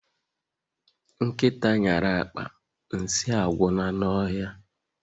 Nkịta nyara akpa, nsị agwụla n'ọhịa